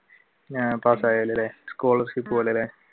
ആഹ് പാസ്സായാലല്ലേ scholarship പോലെ അല്ലെ?